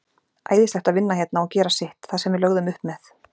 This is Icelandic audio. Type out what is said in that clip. Æðislegt að vinna hérna og gera sitt, það sem við lögðum upp með.